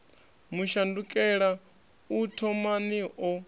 mu shandukela u thomani o